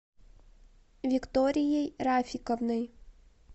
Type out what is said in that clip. викторией рафиковной